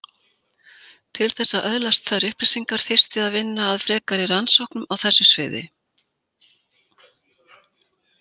Til þess að öðlast þær upplýsingar þyrfti að vinna að frekari rannsóknum á þessu sviði.